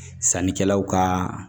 Sannikɛlaw ka